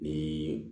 Ni